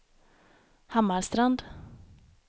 Hammarstrand